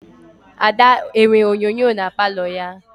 Ada enwe onyinye na Palọ ya?